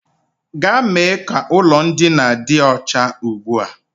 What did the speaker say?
Gaa mee ka ụlọ ndina dị ọcha ugbu a!